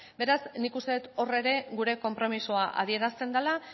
beraz nik uste dut hor ere gure konpromisoa adierazten dela